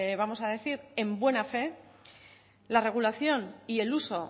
vamos a decir en buena fe la regulación y el uso